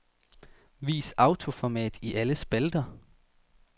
Vis autoformat i alle spalter.